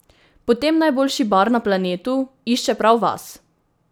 Potem najboljši Bar na Planetu išče prav vas!